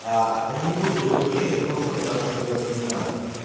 а они не буду друг друга резать просто потому что им это не надо